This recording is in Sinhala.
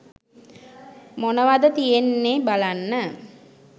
මොනවද තියෙන්නෙ බලන්න